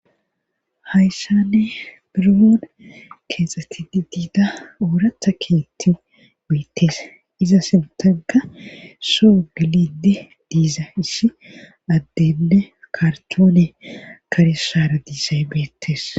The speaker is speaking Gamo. Hayssane birooon keexxeti di diida ooratha keetti beettes iza sintanka soo gilidi diiza isshi addenne kartoone kare saara diisay beettes.